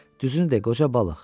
Düzünü de, qoca balıq.